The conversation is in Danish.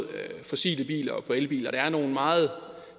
fossile biler og elbiler der nogle meget